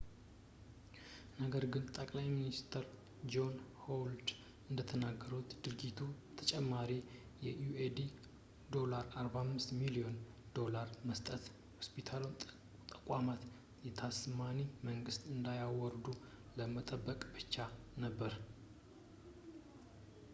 ነገር ግን ጠቅላይ ሚኒስትር ጆን ሆዋርድ እንደተናገሩት ድርጊቱ ተጨማሪ የ aud$45 ሚሊዮን ዶላር በመስጠት የሆስፒታሉን ተቋማት በታስማኒያ መንግስት እንዳያወርዱ ለመጠበቅ ብቻ ነበር